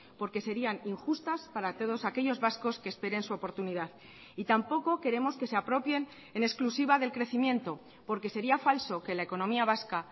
porque serían injustas para todos aquellos vascos que esperen su oportunidad y tampoco queremos que se apropien en exclusiva del crecimiento porque sería falso que la economía vasca